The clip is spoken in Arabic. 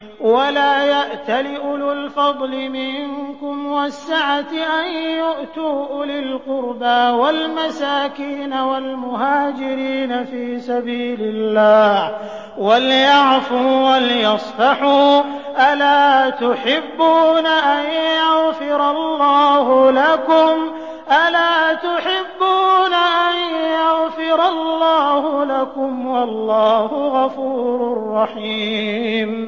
وَلَا يَأْتَلِ أُولُو الْفَضْلِ مِنكُمْ وَالسَّعَةِ أَن يُؤْتُوا أُولِي الْقُرْبَىٰ وَالْمَسَاكِينَ وَالْمُهَاجِرِينَ فِي سَبِيلِ اللَّهِ ۖ وَلْيَعْفُوا وَلْيَصْفَحُوا ۗ أَلَا تُحِبُّونَ أَن يَغْفِرَ اللَّهُ لَكُمْ ۗ وَاللَّهُ غَفُورٌ رَّحِيمٌ